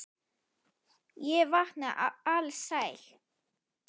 Ég vaknaði alsæll.